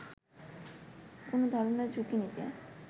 কোনো ধরনের ঝুঁকি নিতে